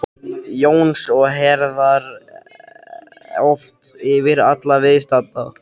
Jóns og herðar oft yfir alla viðstadda.